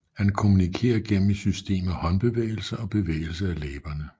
Han kommunikerer gennem et system af håndbevægelser og bevægelse af læberne